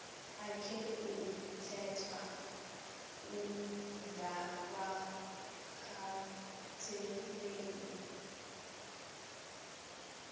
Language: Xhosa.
akhe kuthethwa ukungawakhathaleli